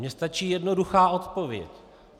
Mně stačí jednoduchá odpověď.